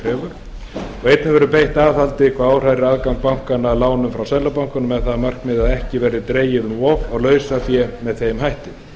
krefur einnig verður beitt aðhaldi hvað áhrærir aðgang bankanna að lánum frá seðlabankanum með það að markmiði að ekki verði dregið um of á lausafé með þeim hætti